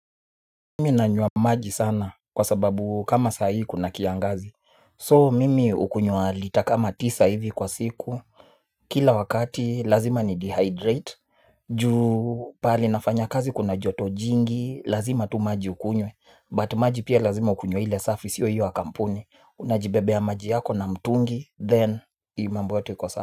Mimi nanywa maji sana kwa sababu kama sahi kuna kiangazi So mimi hukunywa lita kama tisa hivi kwa siku. Kila wakati lazima ni dehydrate. Ju pahali nafanya kazi kuna joto jingi lazima tu maji ukunywe But maji pia lazima ukunywe ile safi siyo hiyo ya kampuni. Unajibebeya maji yako na mtungi then ii mambo yote iko sawa.